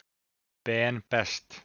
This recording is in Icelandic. Ben Best.